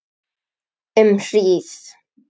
Um hríð.